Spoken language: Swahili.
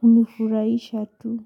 hunifurahisha tu.